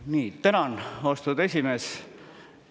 Nii, tänan, austatud esimees!